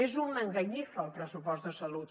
és una enganyifa el pressupost de salut